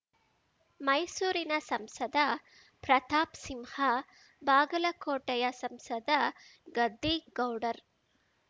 ಮೈಸೂರಿನ ಸಂಸದ ಪ್ರತಾಪ್ ಸಿಂಹ ಬಾಗಲಕೋಟೆಯ ಸಂಸದ ಗದ್ದಿಗೌಡರ್